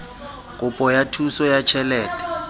kopo ya thuso ya tjhelete